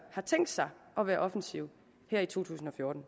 har tænkt sig at være offensiv her i to tusind og fjorten